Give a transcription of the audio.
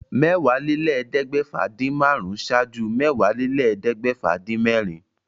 Mẹ́wàálélẹ́ẹ̀ẹ́dẹ́gbẹ́fà-dín-márùn-ún ṣáájú Mẹ́wàálélẹ́ẹ̀ẹ́dẹ́gbẹ́fà-dín-mẹ́rin.